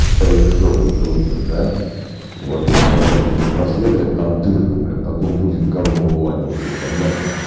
жопой крутишь да вот когда тебе просверлят там дырку блядь потом будет гавно вываливаться понятно